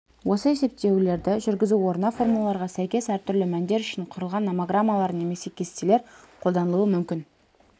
осы есептеулерді жүргізу орнына формулаға сәйкес әртүрлі мәндер үшін құрылған номограммалар немесе кестелер қолданылуы мүмкін